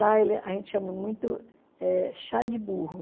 a gente chama muito eh chá de burro.